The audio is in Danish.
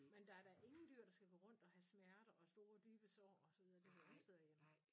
Men der er da ingen dyr der skal gå rundt og have smerter og store dybe sår og så videre det hører ingen steder hjemme